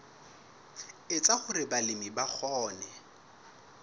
etsa hore balemi ba kgone